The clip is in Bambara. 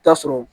Taa sɔrɔ